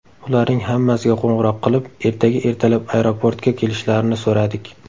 Ularning hammasiga qo‘ng‘iroq qilib, ertaga ertalab aeroportga kelishlarini so‘radik.